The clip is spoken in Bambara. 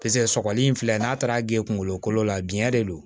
paseke sɔgɔli in filɛ n'a taara geen kungolo kolo la biɲɛ de don